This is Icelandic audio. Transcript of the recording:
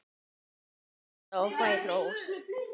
Ég hrósa og fæ hrós.